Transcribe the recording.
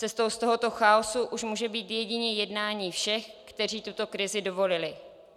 Cestou z tohoto chaosu už může být jedině jednání všech, kteří tuto krizi dovolili.